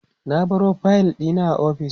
na baro fayil ɗin a ofis